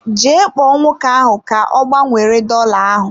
Jee kpọọ nwoke ahụ ka ọ gbanwere dola ahụ.